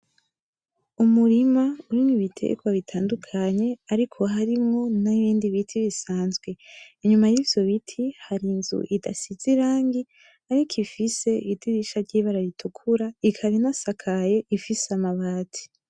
Umurima urimwo ibiterwa bitandukanye ariko harimwo n'ibindi biti bisanzwe. Inyuma y'ivyo biti, hari inzu idasize irangi ariko ifise idirisha ry'ibara ritukura, ikaba inasakaye ifise amabati.